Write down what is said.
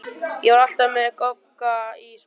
Ég var alltaf með Gogga í svona poka.